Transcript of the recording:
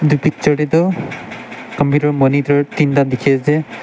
etu picture te toh computer monitor tinta dikhi ase.